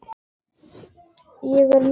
Ég er norn.